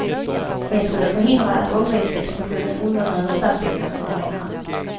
Det skulle förhindra att åldringsexplosionen undergräver statsfinanserna, menar han.